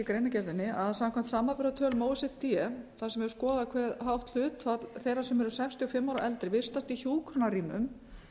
greinargerðinni að samkvæmt samanburðartölum o e c d þar sem er skoðað hve hátt hlutfall þeirra sem eru sextíu og fimm ára og eldri vistast í hjúkrunarrýmum